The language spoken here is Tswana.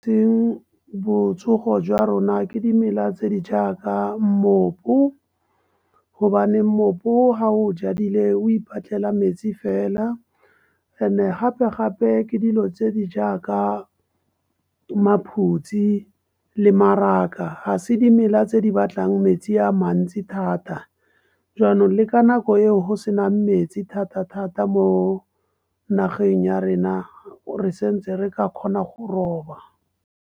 Teng botsogo jwa rona ke dimela tse di jaaka mmopu gobane moepo ga o jadile o ipatlela metsi fela. And-e gape-gape ke dilo tse di jaaka , di le mmaraka, ga se dimela tse di batlang metsi a mantsi thata. Jwanong le ka nako eo senang metsi, thata-thata mo nageng ya rena re sa ntse re ka kgona go roba.